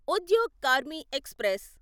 Udyog Karmi express